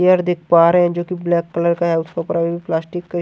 layer दिख पा रहे हैं जोकि ब्लैक कलर का है उसके ऊपर हम प्लास्टिक --